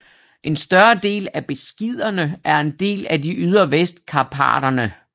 En større del af Beskiderne er en del af de ydre Vestkarpaterne